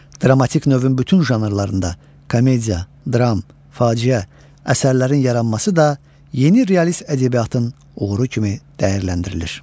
Dramatik növün bütün janrlarında, komediya, dram, faciə, əsərlərin yaranması da yeni realist ədəbiyyatın uğuru kimi dəyərləndirilir.